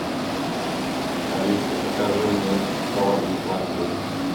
алиса закажи мне шоколадный пломбир